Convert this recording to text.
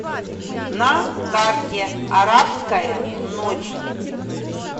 на карте арабская ночь